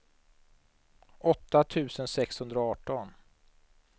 åtta tusen sexhundraarton